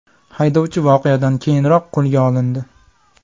Haydovchi voqeadan keyinoq qo‘lga olindi.